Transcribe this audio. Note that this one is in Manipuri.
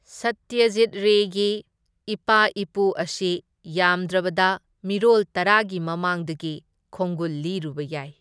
ꯁꯠꯇ꯭ꯌꯖꯤꯠ ꯔꯦꯒꯤ ꯏꯄꯥ ꯏꯄꯨ ꯑꯁꯤ ꯌꯥꯝꯗ꯭ꯔꯕꯗ ꯃꯤꯔꯣꯜ ꯇꯔꯥꯒꯤ ꯃꯃꯥꯡꯗꯒꯤ ꯈꯣꯡꯒꯨꯜ ꯂꯤꯔꯨꯕ ꯌꯥꯏ꯫